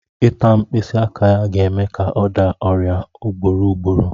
Ịta mkpịsị aka ya ga-eme ka ọ daa ọrịa ugboro ugboro